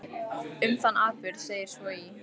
Um þann atburð segir svo í